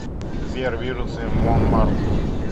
сбер вирусы монмарт